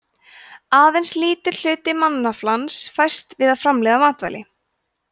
aðeins lítill hluti mannaflans fæst við að framleiða matvæli